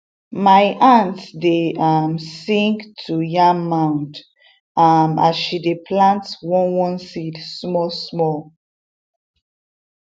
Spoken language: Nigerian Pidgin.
my aunt dey um sing to yam mound um as she dey plant one one seed small small um